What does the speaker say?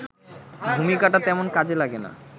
ভূমিকাটা তেমন কাজে লাগে না